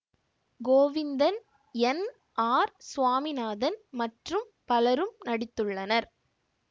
Govindan N R Swaminathan மற்றும் பலரும் நடித்துள்ளனர்